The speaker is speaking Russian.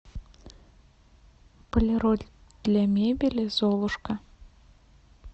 полироль для мебели золушка